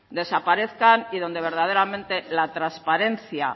desaparezcan y donde verdaderamente la transparencia